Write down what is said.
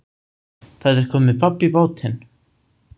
Það er komið babb í bátinn